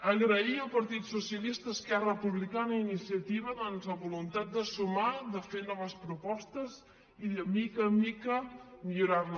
agrair al partit socialista a esquerra republicana i a iniciativa doncs la voluntat de sumar de fer noves propostes i de mica en mica millorar la